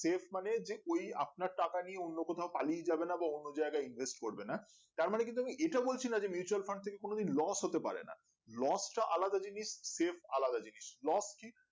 save মানে যে ওই আপনার টাকা নিয়ে অন্য কোথাও পালিয়ে যাবেনা বা অন্য জায়গায় invest করবে না তার মানে এটা বলছি না যে mutual fund থেকে কোনো দিন loss হতে পারে না loss টা আলাদা জিনিস save টা আলাদা জিনিস loss কি